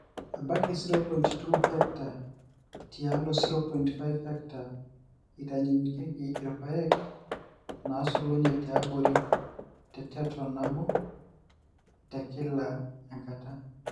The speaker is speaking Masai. ebaiki 0.2 ha tiatua 0.5 ha eitayunyieki irpaek naasulenye tiabori te ton nabo te kila enkata